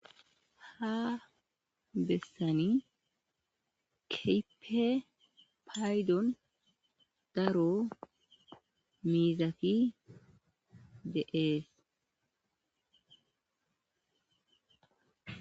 Ha bessani keehippe daro gidida miizati doosona.